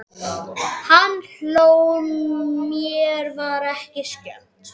Hann hló, mér var ekki skemmt.